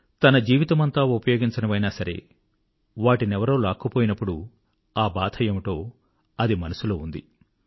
తన జీవితమంతా ఉపయోగించనివైనా సరే వాటినెవరో లాక్కుపోయినప్పుడు ఆ బాధ ఏమిటో అది మనసులో ఉండింది